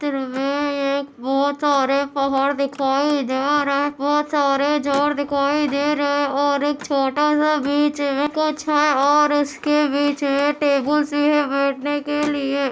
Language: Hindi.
और ये एक बहुत सारे पहाड़ दिखाई दे रहे है बहुत सारे झाड़ दिखाई दे रहे है और एक छोटा सा बीच और उसके बीच में टेबुल सी है बैठने के लिए --